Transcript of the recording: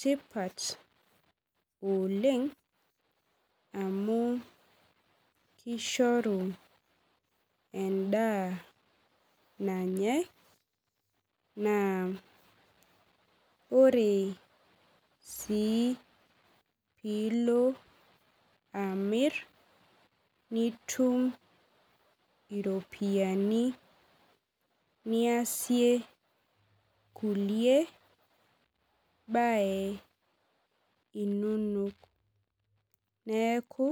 tipat oleng amu kishoru endaa nanyae naa ore sii piilo amirr nitum iropiani niasie kulie baye inonok neeku.